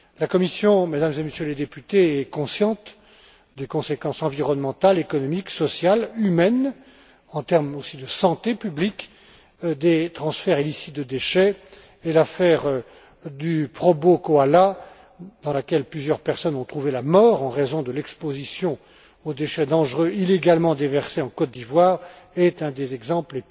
La Commission, Mesdames et Messieurs les députés, est consciente des conséquences environnementales, économiques, sociales, humaines, ainsi qu'en termes de santé publique, des transferts illicites de déchets, et l'affaire du Probo Koala, dans laquelle plusieurs personnes ont trouvé la mort en raison de l'exposition aux déchets dangereux illégalement déversés en Côte d'Ivoire, est un des pires exemples